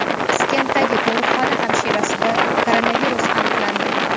Piskentdagi tug‘ruqxona hamshirasida koronavirus aniqlandi.